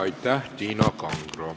Aitäh, Tiina Kangro!